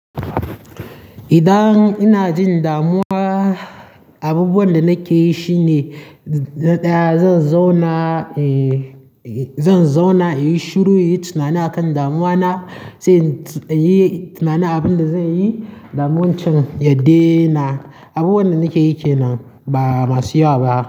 Idan ina jin damuwa, abubuwan da nake yi shine na ɗaya zan zauna, zan zauna in yi shiru, in yi tunani a kan damuwa na, sai in yi tunanin abin da zanyi. Damun can yadena, abubuwan da nake yi kenan ba masu yawa ba.